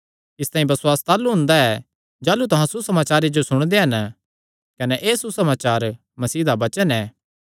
इसतांई बसुआस ताह़लू हुंदा ऐ जाह़लू तुहां सुसमाचारे जो सुणदे हन कने एह़ सुसमाचार मसीह दा वचन ऐ